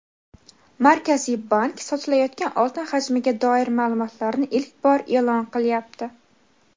Markaziy bank sotilayotgan oltin hajmiga doir ma’lumotlarni ilk bor e’lon qilyapti.